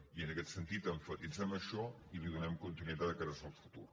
i en aquest sentit emfatitzem això i hi donem continuïtat de cares al futur